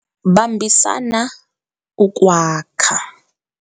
Bambisana ukwakha